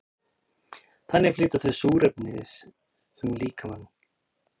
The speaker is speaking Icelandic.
þannig flytja þau súrefnis um líkamann